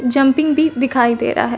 Jumping बीप दिखाई दे रहा है।